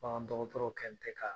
Bagan dɔgɔtɔrɔw kɛlen tɛ ka